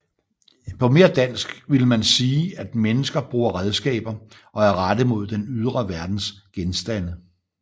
På mere jævnt dansk ville man sige at mennesker bruger redskaber og er rettet mod den ydre verdens genstande